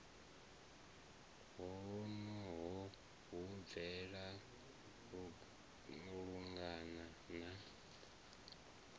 honoho hu bvelela lungana na